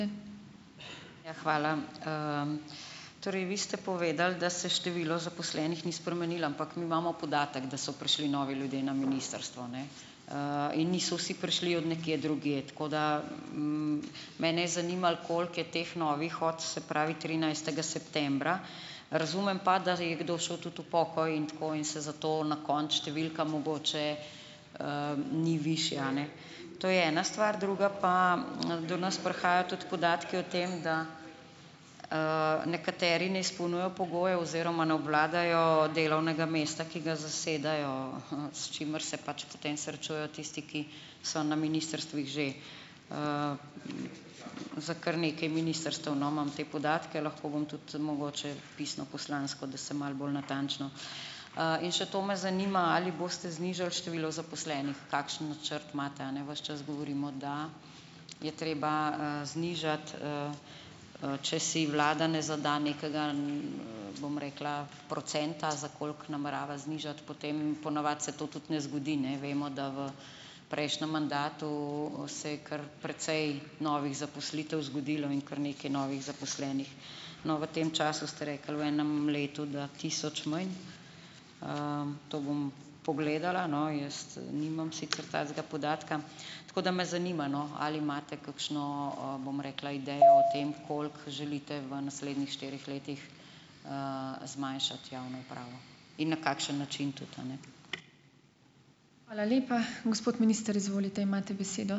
Ja, hvala. Torej, vi ste povedali, da se število zaposlenih ni spremenilo, ampak mi imamo podatek, da so prišli novi ljudje na ministrstvo, ne, in niso vsi prišli od nekje drugje. Tako da ... Mene je zanimalo, koliko je teh novih od, se pravi, trinajstega septembra, razumem pa, da je kdo šel tudi v pokoj in tako in se zato na koncu številka mogoče, ni višja, a ne. To je ena stvar. Druga pa, do nas prihajajo tudi podatki o tem, da, nekateri ne izpolnjujejo pogojev oziroma ne obvladajo delovnega mesta, ki ga zasedajo, s čimer se pač potem srečujejo tisti, ki so na ministrstvih že. Za kar nekaj ministrstev, no, imam te podatke. Lahko vam tudi mogoče pisno poslansko, da se malo bolj natančno, In še to me zanima, ali boste znižali število zaposlenih? Kakšen načrt imate, a ne? Ves čas govorimo, da je treba, znižati, če si vlada ne zadaj nekega, bom rekla, procenta, za koliko namerava znižati, potem po navadi se to tudi ne zgodi, ne. Vemo, da v prejšnjem mandatu se je kar precej novih zaposlitev zgodilo in kar nekaj novih zaposlenih. No, v tem času, ste rekli, v enem letu, da tisoč manj. To bom pogledala, no. Jaz nimam sicer takega podatka. Tako da me zanima, no, ali imate kakšno, bom rekla, idejo o tem, koliko želite v naslednjih štirih letih, zmanjšati javno upravo in na kakšen način tudi, a ne.